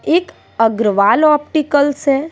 एक अग्रवाल ऑप्टिकल्स है।